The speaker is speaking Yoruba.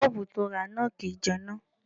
Bọ́ọ̀bù to rà náà kìí jẹná.